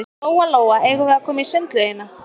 Lóa-Lóa, eigum við að koma í sundlaugina?